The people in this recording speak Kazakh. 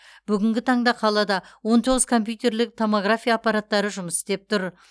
бүгінгі таңда қалада он тоғыз компьютерлік томография аппараттары жұмыс істеп тұр